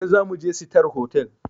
Gobe zamuje sitar hotal